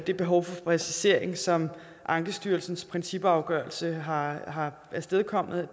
det behov for præcisering som ankestyrelsens principafgørelse har har afstedkommet